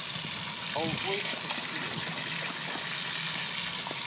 al ooit gesteel